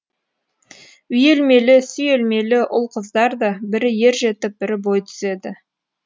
үйелмелі сүйелмелі ұл қыздар да бірі ер жетіп бірі бой түзеді